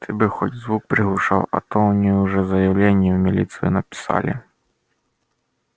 ты бы хоть звук приглушал а то они уже заявление в милицию написали